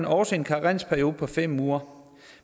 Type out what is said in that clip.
også en karensperiode på fem uger